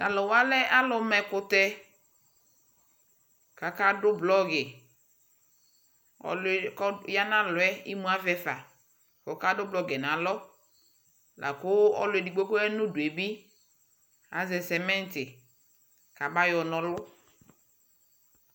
Taluwa lɛ aluma ɛkutɛkakadu blogi ɔluɛ kɔya nalɔɛ imuavɛ fa kɔkadu blɔgiiɛ laku ɔluɛdigbo kaya nuduebi aʒɛ cement kamayɔ nɔlu